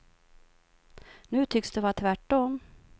Nu tycks det vara tvärt om.